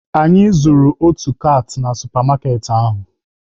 Anyị zujuru otu kaati na supa maaketị ahụ.